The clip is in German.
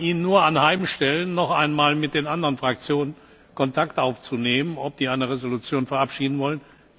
Ich kann Ihnen nur anheimstellen, noch einmal mit den anderen Fraktionen Kontakt aufzunehmen, ob sie eine Entschließung verabschieden wollen.